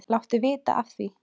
Láttu vita af því.